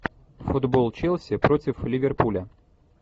футбол челси против ливерпуля